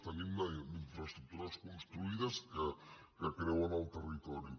tenim infraestructures construïdes que creuen el territori